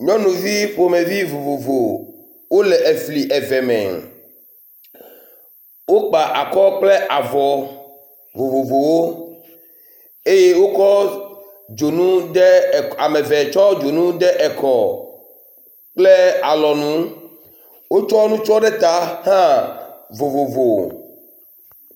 Nyɔnuvi ƒomevi vovovo wole efli eve me. Wokpa akɔ kple avɔ vovovowo, eye wokɔ dzonu de, ame eve tsɔ dzonu de ekɔ kple alɔnu. Wotsɔ nutsɔ ɖe ta hã vovovo.